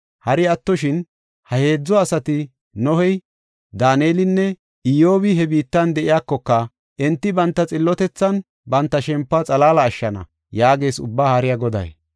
Hari attoshin ha heedzu asati Nohey, Daanelinne Iyyobi he biittan de7iyakoka, enti banta xillotethan banta shempuwa xalaala ashshana” yaagees Ubbaa Haariya Goday.